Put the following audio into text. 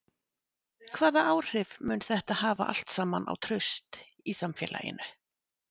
Hvaða áhrif mun þetta hafa allt saman á traust í samfélaginu?